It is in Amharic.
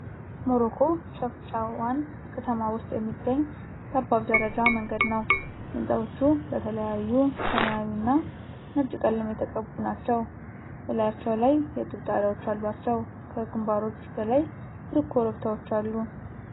ሞሮኮ ሸፍሻዋን ከተማ ውስጥ የሚገኝ ጠባብ ደረጃ መንገድ ነው። ሕንፃዎቹ በተለያዩ ሰማያዊና ነጭ ቀለም የተቀቡ ናቸው፣ በላያቸው ላይ የጡብ ጣሪያዎች አሏቸው። ከግንባሮች በላይ ሩቅ ኮረብታዎች አሉ።